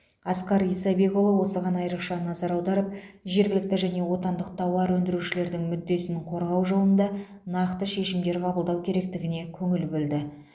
асқар исабекұлы осыған айрықша назар аударып жергілікті және отандық тауар өндірушілердің мүддесін қорғау жолында нақты шешімдер қабылдау керектігіне көңіл бөлді